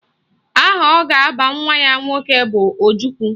Aha ọ ga-aba nwa ya nwoke bụ Ojukwu